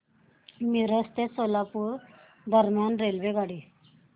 मिरज ते सोलापूर दरम्यान रेल्वेगाडी